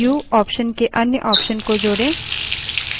terminal पर जाएँ